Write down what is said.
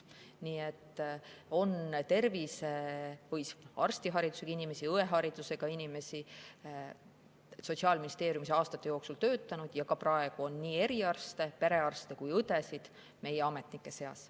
Nii et on arstiharidusega inimesi, on õeharidusega inimesi Sotsiaalministeeriumis aastate jooksul töötanud ja ka praegu on nii eriarste, perearste kui ka õdesid meie ametnike seas.